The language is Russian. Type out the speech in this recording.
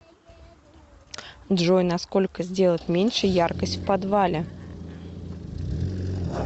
джой на сколько сделать меньше яркость в подвале